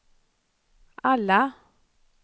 alla